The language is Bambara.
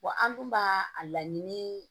an dun b'a a laɲini